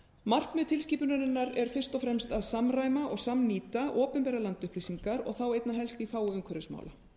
markmið tilskipunarinnar er fyrst og fremst að samræma og samnýta opinberar landupplýsingar og þá einna helst í þágu umhverfismála